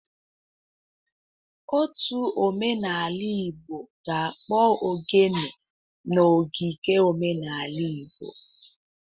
Ótù omenaala Igbo ga-akpọ Oghene n'ogige omenala Igbo.